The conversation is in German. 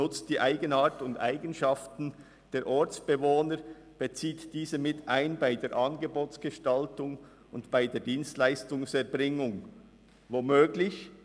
Er nutzt die Eigenart und die Eigenschaften der Ortsbewohner und bezieht diese bei der Angebotsgestaltung und bei der Dienstleistungserbringung mit ein.